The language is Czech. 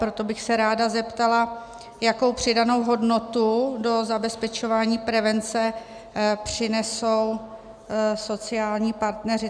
Proto bych se ráda zeptala, jakou přidanou hodnotu do zabezpečování prevence přinesou sociální partneři.